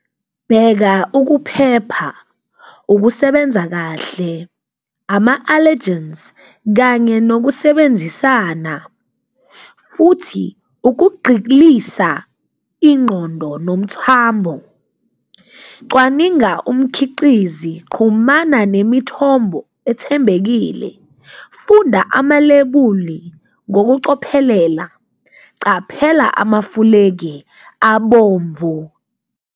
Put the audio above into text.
Bheka ukuphepha, ukusebenza kahle, ama-allergens kanye nokusebenzisana futhi ukugqilisa ingqondo nomthamo, cwaninga umkhiqizi, qhumana nemithombo ethembekile, funda amalebuli ngokucophelela, caphela amafulegi abomvu.